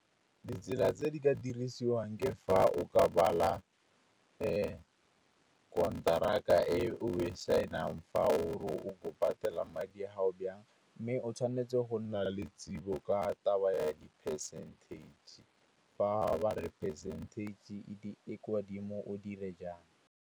Ditsela tse di ka dirisiwang ke fa o ka bala konteraka e o e sign-ang fa o patela madi a gago jang. Mme o tshwanetse go nna le tsebo ka taba ya di-percentage. Fa ba re percentage e kwa dimo o dire jang.